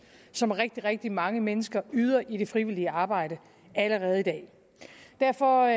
som rigtig rigtig mange mennesker yder i det frivillige arbejde allerede i dag derfor